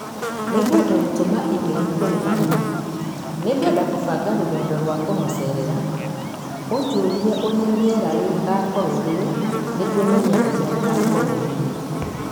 Nĩngwenda gũtũma e-mail kũrĩ mami. Nĩngwenda kũbanga rũgendo rwa kũmũceerera. Ũnjũũrie ũrĩa rĩera rĩgaakorũo rĩrĩ nĩguo menye ũrĩa rĩgaakorũo rĩrĩ.